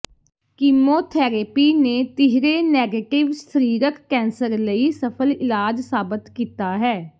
chemotherapy ਨੇ ਤੀਹਰੇ negative ਸਰੀਰਕ ਕੈਂਸਰ ਲਈ ਸਫਲ ਇਲਾਜ ਸਾਬਤ ਕੀਤਾ ਹੈ